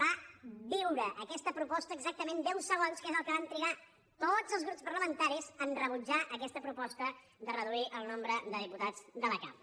va viure aquesta proposta exactament deu segons que és el que van trigar tots els grups parlamentaris a rebutjar aquesta proposta de reduir el nombre de diputats de la cambra